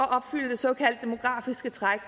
at opfylde det såkaldte demografiske træk